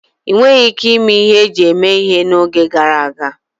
Enweghi ike ime ihe eji eme ihe n'oge gara aga.